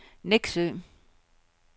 Nexø